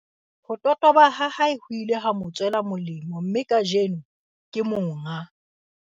Ho totoba ha hae ho ile ha mo tswela molemo mme kajeno, ke monga